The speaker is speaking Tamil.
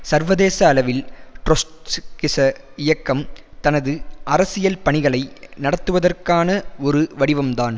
சர்வதேச அளவில் ட்ரொஸ்கிச இயக்கம் தனது அரசியல் பணிகளை நடத்துவதற்கான ஒரு வடிவம்தான்